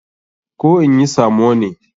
Koh in yi samo ne?